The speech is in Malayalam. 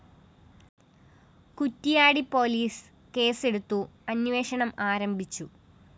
കുറ്റിയാടി പോലീസ് കേസ്സെടുത്തു അന്വേഷണം ആരംഭിച്ചു